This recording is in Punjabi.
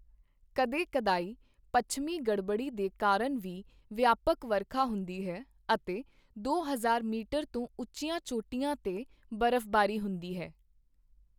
ਕਦੇ ਕਦਾਈਂ ਪੱਛਮੀ ਗੜਬੜੀ ਦੇ ਕਾਰਨ ਵੀ ਵਿਆਪਕ ਵਰਖਾ ਹੁੰਦੀ ਹੈ, ਅਤੇ ਦੋ ਹਜ਼ਾਰ ਮੀਟਰ ਤੋਂ ਉੱਚੀਆਂ ਚੋਟੀਆਂ 'ਤੇ ਬਰਫ਼ਬਾਰੀ ਹੁੰਦੀ ਹੈ।